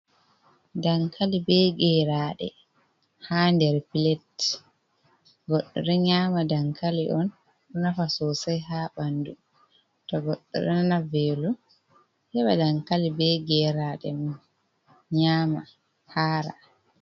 Dankali be geraaɗe haa der pilet, goɗɗo ɗo nyaama dankali on, nafa sosay haa ɓanndu to goɗɗo ɗo nana veelo heɓa dankali be geraaɗe nyaama haara.